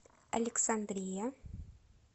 александрия